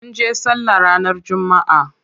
Munje sallah ranar jumma'a.